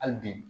Hali bi